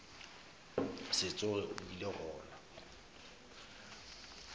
se tsoge a bile gona